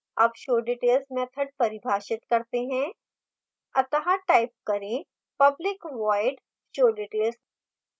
अब showdetails method परिभाषित करते हैं अत: type करें public void showdetails